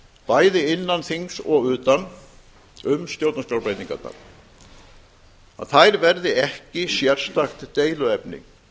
bæði innan þings og utan um stjórnarskrárbreytingarnar að þær verði ekki sérstakt deiluefni